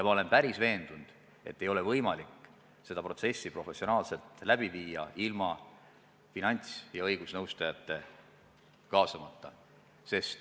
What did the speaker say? Ma olen päris veendunud, et ei ole võimalik seda protsessi professionaalselt läbi viia ilma finants- ja õigusnõustajaid kaasamata.